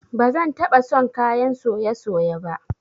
Ba zan taba son kayan soye-soye ba